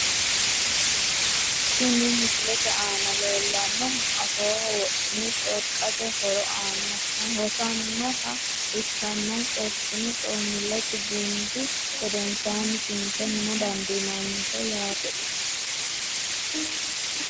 Kuni misilete aana leellannohu afooho wodhine corqate horo aana hosannoha ikkanna corqine coommillesi gundi gedensaanni tunfe huna dandiinanniho yaate isi.